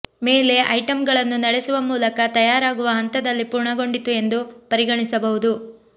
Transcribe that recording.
ಮೇಲೆ ಐಟಂಗಳನ್ನು ನಡೆಸುವ ಮೂಲಕ ತಯಾರಾಗುವ ಹಂತದಲ್ಲಿ ಪೂರ್ಣಗೊಂಡಿತು ಎಂದು ಪರಿಗಣಿಸಬಹುದು